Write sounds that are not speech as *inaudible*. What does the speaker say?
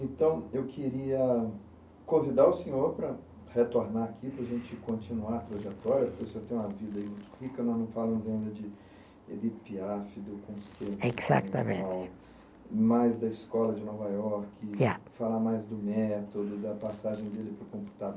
Então, eu queria convidar o senhor para retornar aqui, para a gente continuar a trajetória, porque o senhor tem uma vida aí muito rica, nós não falamos ainda de de, *unintelligible* do Conselho, mais da Escola de Nova Iorque, falar mais do método, da passagem dele para o computa